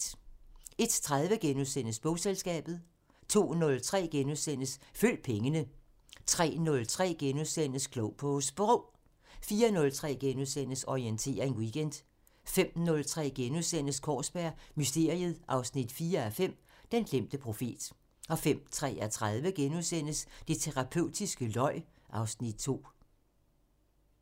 01:30: Bogselskabet * 02:03: Følg pengene * 03:03: Klog på Sprog * 04:03: Orientering Weekend * 05:03: Kaarsberg Mysteriet 4:5 – Den glemte profet * 05:33: Det terapeutiske løg (Afs. 2)*